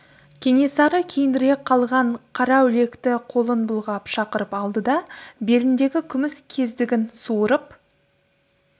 кенесары кейінірек қалған қараүлекті қолын бұлғап шақырып алды да беліндегі күміс кездігін суырып